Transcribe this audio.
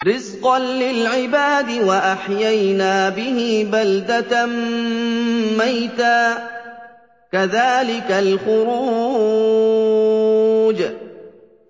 رِّزْقًا لِّلْعِبَادِ ۖ وَأَحْيَيْنَا بِهِ بَلْدَةً مَّيْتًا ۚ كَذَٰلِكَ الْخُرُوجُ